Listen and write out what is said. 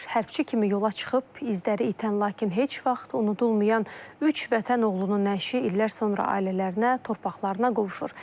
Hərbçi kimi yola çıxıb izləri itən lakin heç vaxt unudulmayan üç vətən oğlunun nəşi illər sonra ailələrinə, torpaqlarına qovuşur.